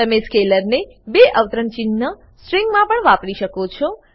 તમે સ્કેલરને બે અવતરણ ચિન્હ સ્ટ્રીંગમા પણ વાપરી શકો છો